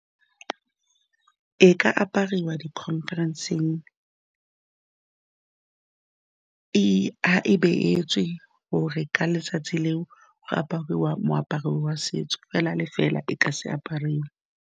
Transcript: E ka apariwa di-conference-eng, e beetswe gore ka letsatsi leo ga apariwa moaparo wa setso fela le fela e ka se apariwe.